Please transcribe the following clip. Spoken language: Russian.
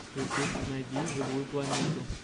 ютуб найди живую планету